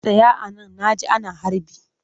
Tsaya a nan na ji ana harbi!